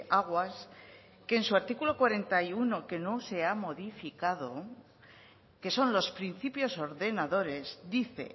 aguas que en su artículo cuarenta y uno que no se ha modificado que son los principios ordenadores dice